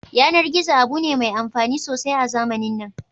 Yanar gizo abu ne mai amfani sosai a zamanin nan